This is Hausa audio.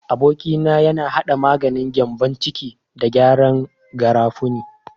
Aboki na yana hada maganin gyambon ciki da gyanyen garafuni.